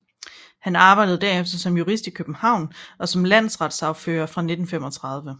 Han arbejdede derefter som jurist i København og som landsretssagfører fra 1935